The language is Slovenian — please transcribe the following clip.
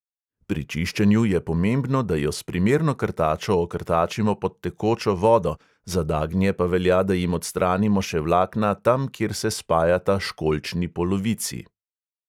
Pri čiščenju je pomembno, da jo s primerno krtačo okrtačimo pod tekočo vodo, za dagnje pa velja, da jim odstranimo še vlakna tam, kjer se spajata školjčni polovici.